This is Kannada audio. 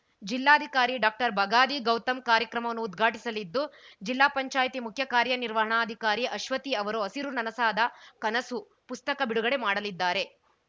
ಜಿಲ್ಲಾಧಿಕಾರಿ ಡಾಕ್ಟರ್ ಬಗಾದಿ ಗೌತಮ್‌ ಕಾರ್ಯಕ್ರಮವನ್ನು ಉದ್ಘಾಟಿಸಲಿದ್ದು ಜಿಲ್ಲಾಪಂಚಾಯತಿ ಮುಖ್ಯ ಕಾರ್ಯನಿರ್ವಹಣಾಧಿಕಾರಿ ಅಶ್ವತಿ ಅವರು ಹಸಿರು ನನಸಾದಕನಸು ಪುಸ್ತಕ ಬಿಡುಗಡೆ ಮಾಡಲಿದ್ದಾರೆ